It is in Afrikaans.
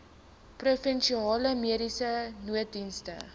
provinsiale mediese nooddienste